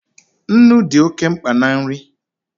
Nnu dị oke mkpa na nri